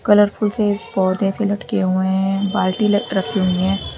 Colourful से पौधे से लटके हुए हैं बाल्टी रखी हुई है।